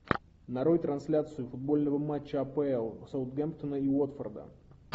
нарой трансляцию футбольного матча апл саутгемптона и уотфорда